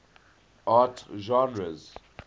art genres